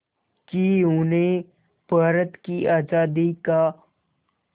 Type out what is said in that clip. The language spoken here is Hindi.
कि उन्हें भारत की आज़ादी का